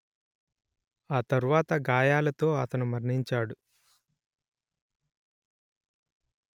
ఆ తర్వాత గాయాలతో అతను మరణించాడు